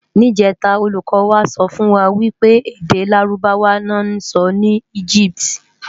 Nijètá ólúkò wá sòfúnwá wipé èdè Lárúbáwá lò nsò ni Egypiti